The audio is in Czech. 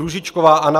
Růžičková Anna